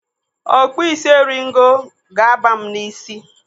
Okpusisi eringo ga-aba m n'ísí.